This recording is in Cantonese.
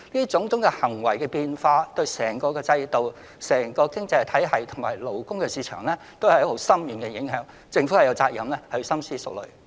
種種變化對整個制度、經濟體系及勞工市場的影響深遠，政府有責任深思熟慮。